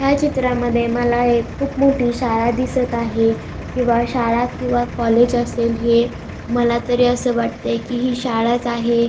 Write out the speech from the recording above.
ह्या चित्रामध्ये मला एक खूप मोठी शाळा दिसत आहे किंवा शाळा किंवा कॉलेज असेल हे मला तरी अस वाटतय आहे कि हि शाळाच आहे.